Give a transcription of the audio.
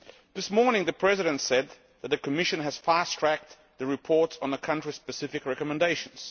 This morning, the President said that the Commission has fast-tracked the reports on the country-specific recommendations.